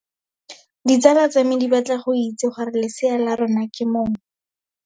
Ditsala tsa me di batla go itse gore lesea la rona ke mong.